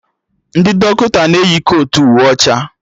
Ndị dọkịta na-eyi kotu uwe ọcha